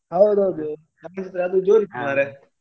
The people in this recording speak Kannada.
ಹೌದೌದು ನಮ್ಗೆಲ್ಲಾ ಅದು ಜೋರ್ ಇತ್ತು ಮಾರೇ.